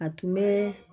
A tun bɛ